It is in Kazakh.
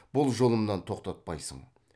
бұл жолымнан тоқтатпайсың